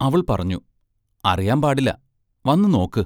അവൾ പറഞ്ഞു: അറിയാമ്പാടില്ല; വന്നു നോക്ക്!